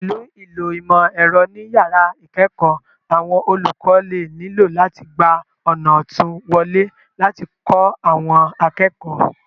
Pẹ̀lú ìlò ìmọ̀ ẹ̀rọ ní yàrá ìkẹ́ẹ̀kọ̀ọ́, àwọn olùkọ́ lè nílò láti gba ọ̀nà òtún wọlé láti kó àwọn akẹ́kọ̀ọ́